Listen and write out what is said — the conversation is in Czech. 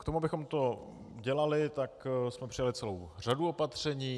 K tomu, abychom to dělali, tak jsme přijali celou řadu opatření.